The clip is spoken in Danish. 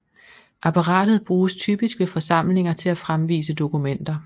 Apparatet bruges typisk ved forsamlinger til at fremvise dokumenter